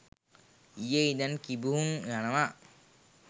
ඊයේ ඉදන් කිඹුහුන් යනවා